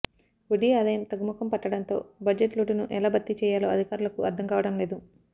వడ్డి ఆదాయం తగ్గుముఖం పట్టడంతో బడ్జెట్ లోటును ఎలా భర్తీ చెయ్యాలో అధికారులకు అర్ధంకావడం లేదు